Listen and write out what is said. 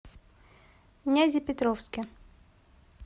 нязепетровске